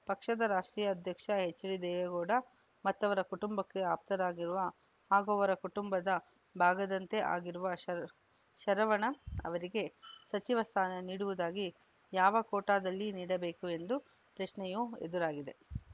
ಪಕ್ಷದ ರಾಷ್ಟ್ರೀಯ ಅಧ್ಯಕ್ಷ ಎಚ್‌ಡಿದೇವೇಗೌಡ ಮತ್ತವರ ಕುಟುಂಬಕ್ಕೆ ಆಪ್ತರಾಗಿರುವ ಹಾಗೂ ಅವರ ಕುಟುಂಬದ ಭಾಗದಂತೇ ಆಗಿರುವ ಶರ ಶರವಣ ಅವರಿಗೆ ಸಚಿವ ಸ್ಥಾನ ನೀಡುವುದಾಗಿ ಯಾವ ಕೋಟಾದಲ್ಲಿ ನೀಡಬೇಕು ಎಂದು ಪ್ರಶ್ನೆಯೂ ಎದುರಾಗಿದೆ